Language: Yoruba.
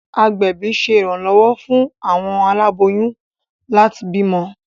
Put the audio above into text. Agbẹbi ṣe iranlọwọ fún awọn aláboyún láti bímọ